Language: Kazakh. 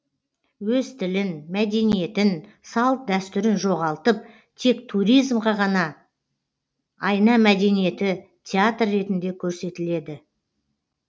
өз тілін мәдениетін салт дәстүрін жоғалтып тек туризмға ғана айна мәдениеті театр ретінде көрсетіледі